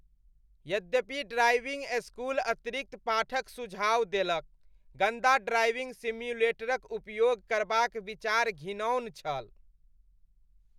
यद्यपि driving school अतिरिक्त पाठक सुझाव देलक, गन्दा ड्राइविंग सिम्युलेटरक उपयोग करबाक विचार घिनौन छल।